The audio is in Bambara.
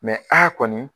a kɔni